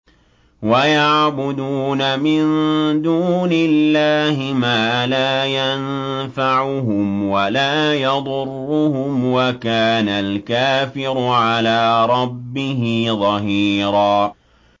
وَيَعْبُدُونَ مِن دُونِ اللَّهِ مَا لَا يَنفَعُهُمْ وَلَا يَضُرُّهُمْ ۗ وَكَانَ الْكَافِرُ عَلَىٰ رَبِّهِ ظَهِيرًا